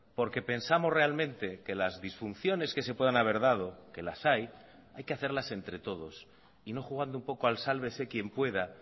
porque pensamos realmente que las disfunciones que se puedan haber dado que las hay hay que hacerlas entre todos y no jugando un poco al sálvese quien pueda